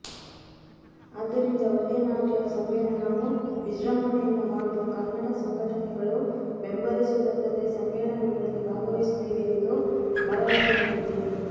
ಆದ್ದರಿಂದ ಒಳ್ಳೆ ನಾಟ್ಯ ಸಮ್ಮೇಳನವು ವಿಜೃಂಭಣೆಯಿಂದ ಮಾಡಲು ಕನ್ನಡ ಸಂಘಟನೆಗಳು ಬೆಂಬಲಿಸುವುದಲ್ಲದೇ ಸಮ್ಮೇಳನದಲ್ಲಿ ಭಾಗವಹಿಸುತ್ತೇವೆ ಎಂದು ಭರವಸೆ ನೀಡಿದರು